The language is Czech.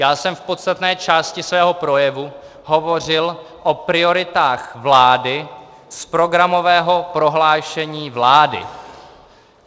Já jsem v podstatné části svého projevu hovořil o prioritách vlády z programového prohlášení vlády.